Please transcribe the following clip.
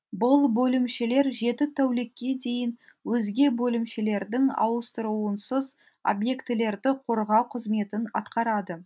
бұл бөлімшелер жеті тәулікке дейін өзге бөлімшелердің ауыстыруынсыз объектілерді қорғау қызметін атқарады